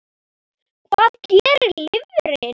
Hvað gerir lifrin?